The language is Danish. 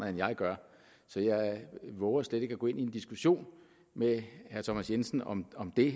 end jeg gør så jeg vover slet ikke at gå ind i en diskussion med herre thomas jensen om om det